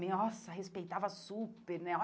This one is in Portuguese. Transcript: Nossa, respeitava super, né?